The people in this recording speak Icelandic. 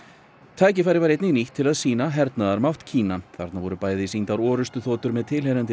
tækifærið var einnig nýtt til að sýna hernaðarmátt Kína þarna voru bæði sýndar orrustuþotur með tilheyrandi